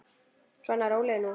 Svona, rólegur nú.